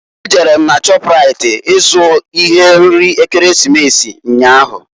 E jere m na shọpraịt i zụ ihe nri Ekeresimesi nnyaa